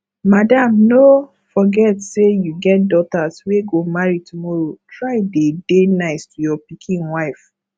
madam no forget say you get daughters wey go marry tomorrow try dey dey nice to your pikin wife